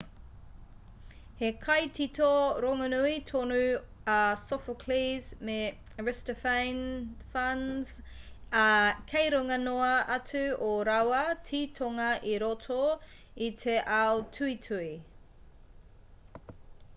he kaitito rongonui tonu a sophocles me aristophanes ā kei runga noa atu ō rāua titonga i roto i te ao tuhituhi